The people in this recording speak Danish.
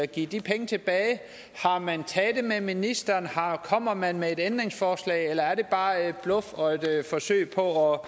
give de penge tilbage har man talt med ministeren kommer man med et ændringsforslag eller er det bare bluff og et forsøg på